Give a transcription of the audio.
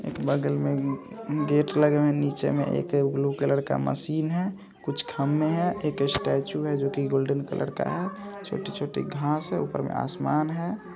एक बगल में गेट लगा है नीचे में एक ब्लू कलर का मशीन है कुछ खंभे है एक स्टैचू है जो कि गोल्डन कलर का है छोटी-छोटी घास है ऊपर में आसमान है।